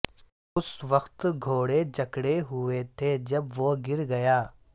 اس وقت گھوڑے جکڑے ہوئے تھے جب وہ گر گیا